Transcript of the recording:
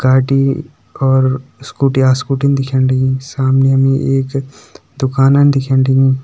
गाडी और स्कूटी आ स्कूटी दिखेण लगीं सामनि हमि एक दुकाना दिखेण लगीं।